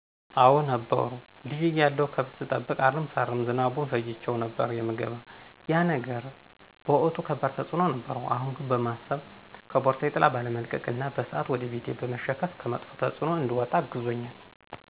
አዎ ነበሩ። ልጅ እያለሁ ገብት ሰጠብቅ፣ አረም ሳርም ዝናቡን ፈጅቸው ነበር የምገባ ያ ነገር በወቅቱ ከባድ ተፅኖ ነበረው አሁን ያነ በማሰብ ከፖርሳየ ጥላ ባለመልቀቅና በስአት ወደ ቤቴ በመሸከፍ ከመጥፍ ተፅኖ እንድወጣ አግዞኛል።